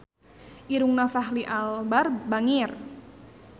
Irungna Fachri Albar bangir